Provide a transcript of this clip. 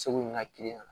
Segu ni n ka la